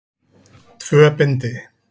Tvö bindi.